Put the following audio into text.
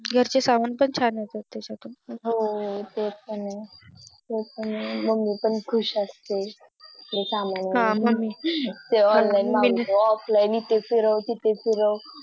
घरचे सामना पण छान येतात त्याच्यातून हो तेच तर Mummy पण खुश असते कि सामान Online मागवला Offline इथे फिरावं तिथे फिरावं